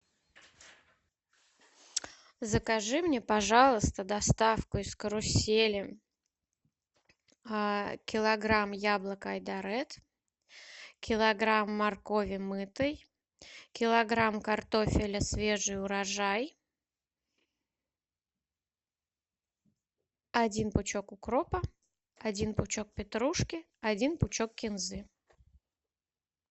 закажи мне пожалуйста доставку из карусели килограмм яблок айдаред килограмм моркови мытой килограмм картофеля свежий урожай один пучок укропа один пучок петрушки один пучок кинзы